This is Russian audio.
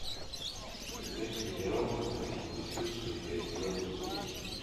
искать сериал восьмое чувство часть двадцать семь